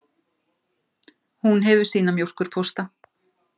Hún hefur sína mjólkurpósta.